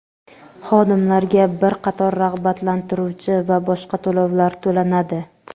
xodimlarga bir qator rag‘batlantiruvchi va boshqa to‘lovlar to‘lanadi.